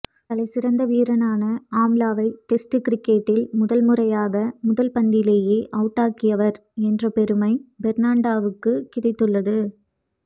தலைசிறந்த வீரரான ஆம்லாவை டெஸ்ட் கிரிக்கெட்டில் முதல் முறையாக முதல் பந்திலேயே அவுட்டாக்கியவர் என்ற பெருமை பெர்ணாண்டோவுக்கு கிடைத்துள்ளது